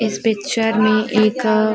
इस पिक्चर में एक अ --